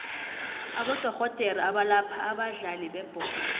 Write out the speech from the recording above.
abodorhodere abalapha abadlali bebholo